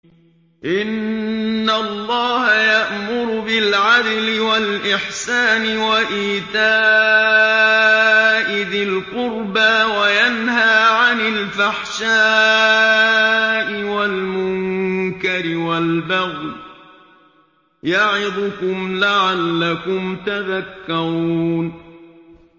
۞ إِنَّ اللَّهَ يَأْمُرُ بِالْعَدْلِ وَالْإِحْسَانِ وَإِيتَاءِ ذِي الْقُرْبَىٰ وَيَنْهَىٰ عَنِ الْفَحْشَاءِ وَالْمُنكَرِ وَالْبَغْيِ ۚ يَعِظُكُمْ لَعَلَّكُمْ تَذَكَّرُونَ